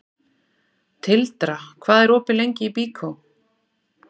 Tildra, hvað er opið lengi í Byko?